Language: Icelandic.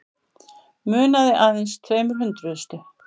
Munaði aðeins tveimur hundruðustu